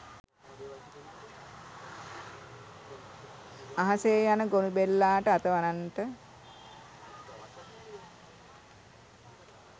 අහසේ යන ගොළුබෙල්ලාට අත වනන්ට